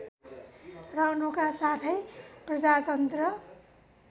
रहनुका साथै प्रजातन्त्र